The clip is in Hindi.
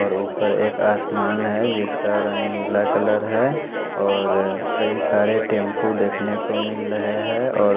और ऊपर एक आसमान है जिसका रंग नीला कलर है और कई सारे टैंपू देखने को मिल रहे हैं और--